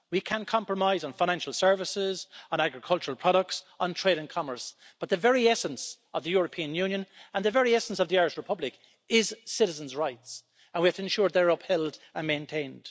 We can compromise on financial services, on agricultural products, on trade and commerce, but the very essence of the European Union and the very essence of the Irish Republic is citizens' rights, and we have to ensure they are upheld and maintained.